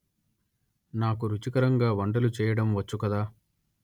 నాకు రుచికరంగా వంటలు చేయడం వచ్చు కదా